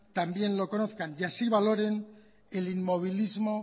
también lo conozcan y así valoren el inmovilismo